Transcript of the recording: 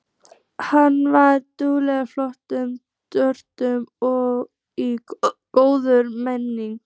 Hann var dugnaðarforkur, glöggur og í góðum metum.